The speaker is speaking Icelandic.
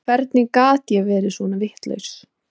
Hvernig gat ég verið svona vitlaus?